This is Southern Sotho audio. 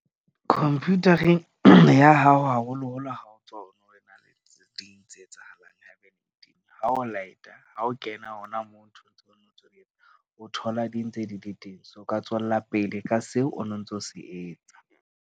Computer-eng ya hao haholoholo ha o ntso tse etsahalang ha o light-a ha o kena hona moo o thola, di ntse di le teng o ka tswella pele ka seo o no ntso se etsa.